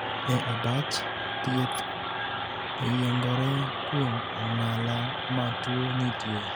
E abach, thieth oyiengore kuom ong'ala ma tuo nitie.